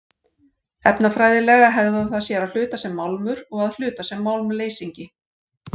Efnafræðilega hegðar það sér að hluta sem málmur og að hluta sem málmleysingi.